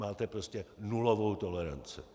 Máte prostě nulovou toleranci.